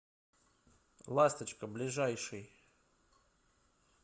ласточка ближайший